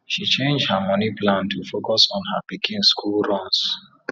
she change her moni plan to focus on her pikin school runs